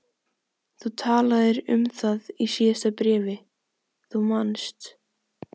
Þú talaðir um það í síðasta bréfi, þú manst.